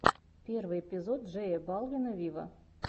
первый эпизод джея балвина виво